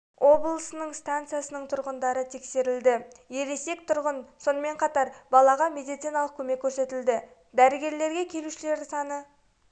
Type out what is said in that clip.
облыстарының стансасының тұрғындары тексерілді ересек тұрғын сонымен қатар балаға медициналық көмек көрсетілді дәрігерлерге келушілер саны